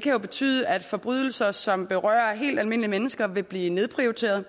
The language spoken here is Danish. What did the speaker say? kan betyde at forbrydelser som berører helt almindelige mennesker vil blive nedprioriteret